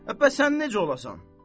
Bəs sən necə olasan?